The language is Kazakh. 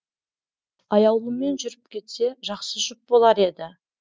аяулыммен жүріп кетсе жақсы жұп болар еді